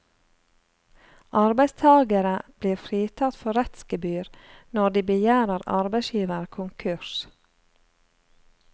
Arbeidstagere blir fritatt for rettsgebyr når de begjærer arbeidsgiver konkurs.